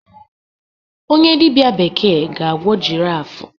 onye dibịa bekee ga-agwọ giraffe